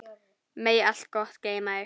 Megi allt gott geyma þig.